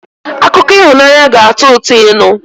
Akụkọ ịhụnanya ga-atọ ụtọ ịnụ